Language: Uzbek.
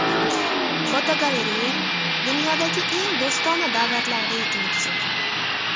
Fotogalereya: Dunyodagi eng do‘stona davlatlar reytingi tuzildi.